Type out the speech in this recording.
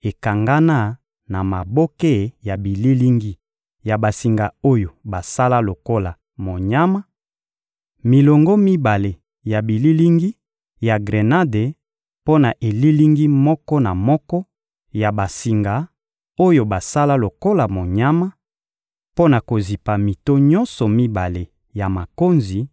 ekangana na maboke ya bililingi ya basinga oyo basala lokola monyama: milongo mibale ya bililingi ya grenade mpo na elilingi moko na moko ya basinga oyo basala lokola monyama, mpo na kozipa mito nyonso mibale ya makonzi;